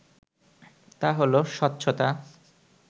তা হলো স্বচ্ছতা